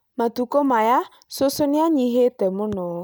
Matukũ maya cũcũ nĩ anyihĩte mũno